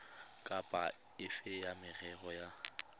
kapa efe ya merero ya